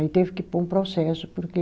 Aí teve que pôr um processo, porque